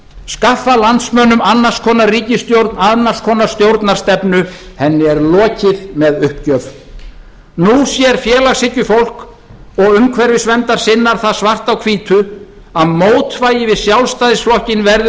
skaffa landsmönnum annars konar ríkisstjórn annars konar stjórnarstefnu henni er lokið með uppgjöf nú sér félagshyggjufólk og umhverfisverndarsinnar það svart á hvítu að mótvægið við sjálfstæðisflokkinn verður